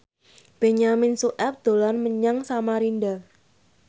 Benyamin Sueb dolan menyang Samarinda